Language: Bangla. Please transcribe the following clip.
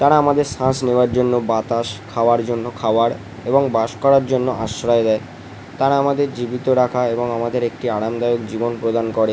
তারা আমাদের শ্বাস নেওয়ার জন্য বাতাসখাওয়ার জন্য খাওয়ার এবং বাস করার জন্য আশ্রয় দেয় তারা আমাদের জীবিত রাখা এবং আমাদের একটি আরামদায়ক জীবন প্রদান করে ।